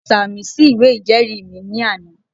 Mo sàmì sí ìwé ìjẹ́ẹ̀rí mi ní àná